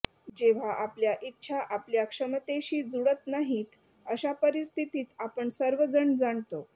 जेव्हा आपल्या इच्छा आपल्या क्षमतेशी जुळत नाहीत अशा परिस्थितीत आपण सर्वजण जाणतो